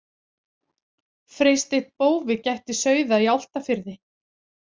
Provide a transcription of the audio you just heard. Freysteinn bófi gætti sauða í Álftafirði.